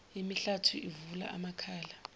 imihlathi uvula amakhala